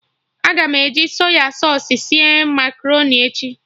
Aga m eji Sọy sausụ sie makaroni echi